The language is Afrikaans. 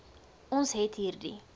ons het hierdie